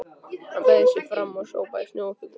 Hann beygði sig fram og sópaði snjó upp í lúkurnar.